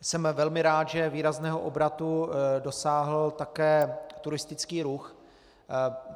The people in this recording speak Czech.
Jsem velmi rád, že výrazného obratu dosáhl také turistický ruch.